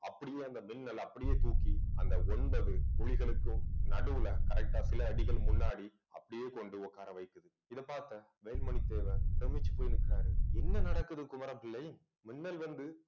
அப்படியே அந்த மின்னலை அப்படியே தூக்கி அந்த ஒன்பது புலிகளுக்கும் நடுவுல correct ஆ சில அடிகள் முன்னாடி அப்படியே கொண்டு உட்கார வைக்குது இதை பார்த்தேன் வேல்மணி தேவர் பிரமிச்சு போய் நிற்கிறாரு. என்ன நடக்குது குமரப்பிள்ளை மின்னல் வந்து